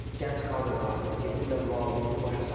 Gənc kadrlardır, gedirlər valideyni başa salırlar.